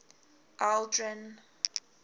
aldrin